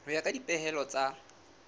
ho ya ka dipehelo tsa